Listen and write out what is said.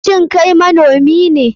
Shin Kai manomi ne?